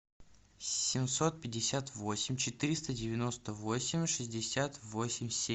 семьсот пятьдесят восемь четыреста девяносто восемь шестьдесят восемь семь